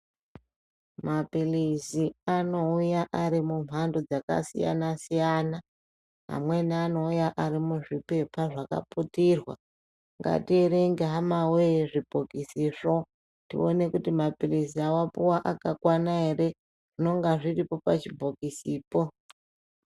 Maphirizi anouya ari mumhando dzakasiyana-siyana amweni anouya ari muzvipepa zvakaputirwa. Ngatierenge hama voyee zvibhokisizvo tione kuti maphirizi avapuva akakwana ere, zvinonga zviripo pachibhokisipo.